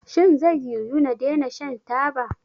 Shin zai yiwu na daina shan taba?